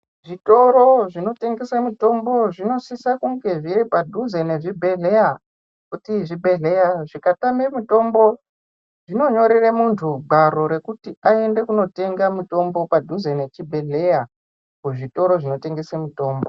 Zvitoro zvinotengesa mitombo, zvinosisa kunge zviri padhuze nezvibhedhleya, kuti zvibhedhleya zvikatame mitombo, zvinonyorere muntu gwaro rekuti aende kunotenga mitombo padhuze nechibhedhleya, kuzvitoro zvinotengese mitombo.